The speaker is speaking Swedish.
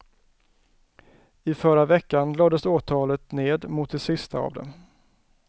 I förra veckan lades åtalet ned mot de sista av dem.